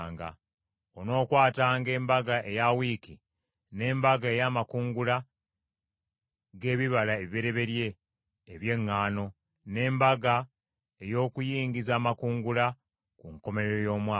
“Onookwatanga Embaga eya Wiiki, n’Embaga ey’Amakungula g’Ebibala Ebibereberye eby’Eŋŋaano, n’Embaga ey’Okuyingiza Amakungula ku nkomerero y’omwaka.